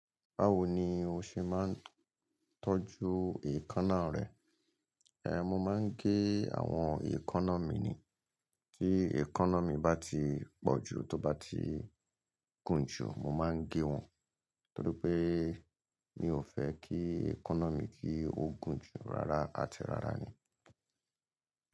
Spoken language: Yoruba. Báwo ni o ṣe máa ń tọ́jú èékánná rẹ? Mo máa ń gé àwọn èékánná mi ni. Tí èékánná mi bá ti pọ̀ jù tó bá ti gùn jù mo máa ń gé wọn. Nítorí pé mi ò fẹ́ kí èékánná mi kí ó gùn jù rárá àti rárá ni.